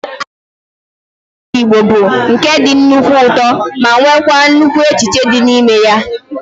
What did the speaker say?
Akụkọ ọdịnala ndị Igbo bụ nke dị nnukwu ụtọ ma nweekwa nnukwu echiche dị ya n'ime